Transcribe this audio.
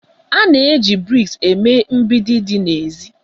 A na-eji brik eme mgbidi dị n'èzí